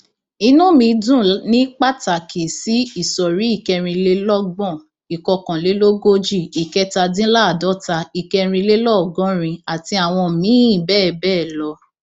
inú mi dùn ní pàtàkì sí ìsọrí ìkẹrìnlélọgbọn ìkọkànlélógójì ìkẹtàdínláàádọta ìkẹrìnlélọgọrin àti àwọn míín bẹẹ bẹẹ lọ